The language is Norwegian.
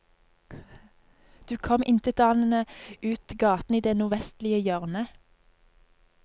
Du kom intetanende ut gaten i det nordvestlige hjørnet.